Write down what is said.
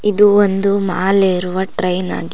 ಇದು ಒಂದು ಮಾಲ್ ಏರುವ ಟ್ರೈನ್ ಆಗಿ--